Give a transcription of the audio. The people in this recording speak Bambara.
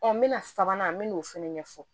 n bɛna sabanan n me n'o fana ɲɛfɔ